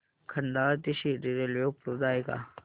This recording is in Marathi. खंडाळा ते शिर्डी रेल्वे उपलब्ध आहे का